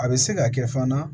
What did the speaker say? A bɛ se ka kɛ fana